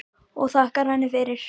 Og þakkar henni fyrir að koma.